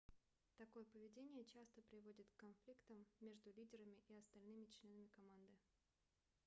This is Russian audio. такое поведение часто приводит к конфликтам между лидерами и остальными членами команды